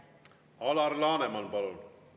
Alar Laneman, palun!